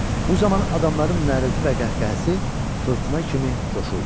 Bu zaman adamların nərilti və qəhqəhəsi fırtına kimi coşurdu.